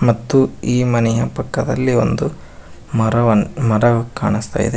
ಮತ್ತು ಈ ಮನೆಯ ಪಕ್ಕದಲ್ಲಿ ಒಂದು ಮರವ ಮರ ಕಾಣುಸ್ತಾ ಇದೆ.